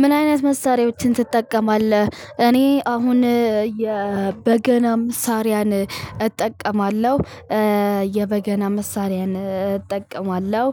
ምን አይነት መሳሪያዎችን ትጠቀማለህ? እኔ አሁን በገናም መሳሪያን እጠቀማለሁ። የበገና መሳሪያን እጠቀማለሁ።